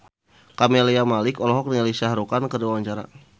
Camelia Malik olohok ningali Shah Rukh Khan keur diwawancara